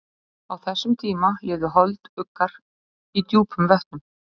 Á þessum tíma lifðu holduggar í djúpum vötnum.